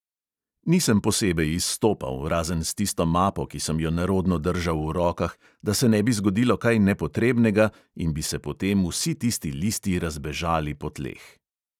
Nisem posebej izstopal, razen s tisto mapo, ki sem jo nerodno držal v rokah, da se ne bi zgodilo kaj nepotrebnega in bi se potem vsi tisti listi razbežali po tleh.